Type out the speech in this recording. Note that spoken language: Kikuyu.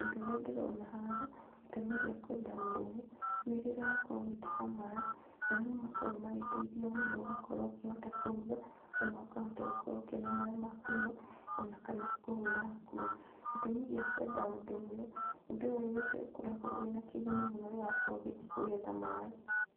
Ũndũ ũrĩa ndĩrona haha, gĩtũmi gĩa kwenda ũndũ ũyũ, nĩ rĩrĩa wakorwo ũgĩtaha maĩ, maĩ nĩ makoragwo magĩteithia mũndũ ũgakorwo ũkĩhota kũruga, ona ũkahota gũkorwo ũkĩona maĩ ma kũnyua, ona kana kũhũra nguo, Gĩtũmi gĩa kwenda ũndũ ũyũ, ũndũ ũyũ nĩ ũkoragwo wĩna kĩguni mũno rĩrĩa wakorwo ũgĩthiĩ kũgetha maĩ.